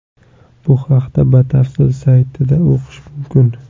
Bu haqda batafsil saytida o‘qish mumkin.